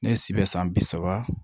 Ne si bɛ san bi saba